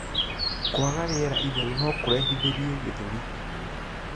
Kwaga rĩera itheru nokurehithirie gĩthũri